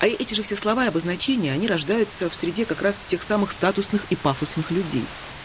а эти же все слова и обозначения они рождаются в среде как раз тех самых статусных и пафосных людей